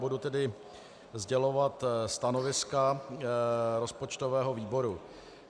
Budu tedy sdělovat stanoviska rozpočtového výboru.